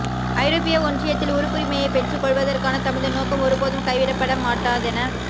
ஐரோப்பிய ஒன்றியத்தில் உறுப்புரிமையைப் பெற்றுக்கொள்வதற்கான தமது நோக்கம் ஒருபோதும் கைவிடப்பட மாட்டாதென